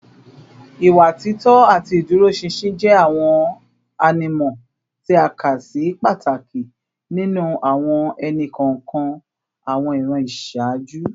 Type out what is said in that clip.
Ìwà títọ́ àti ìdúróṣinṣin jẹ́ àwọn ànímọ́ tí a kà sí pàtàkì nínú àwọn ẹnì kọ̀ọ̀kan àwọn ìran ìṣáájú